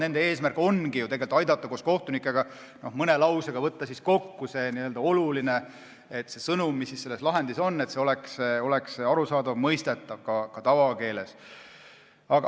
Nende eesmärk ongi aidata koos kohtunikega mõne lausega võtta kokku see oluline sõnum, mis selles lahendis on, et see oleks mõistetav ka tavakeeles.